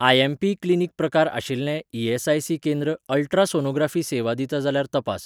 IMP. Clinic प्रकार आशिल्लें ESIC. केंद्र अल्ट्रासोनोग्राफी सेवा दिता जाल्यार तपास.